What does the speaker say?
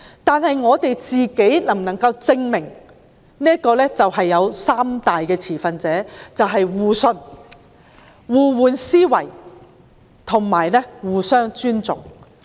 但是，我們能否證明自己能做到三大點，就是互信、互換思維及互相尊重？